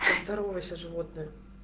животное